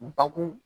Bakun